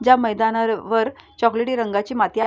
ज्या मैदाना वर चॉकलेटी रंगाची माती आ--